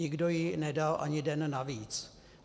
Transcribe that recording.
Nikdo jí nedal ani den navíc.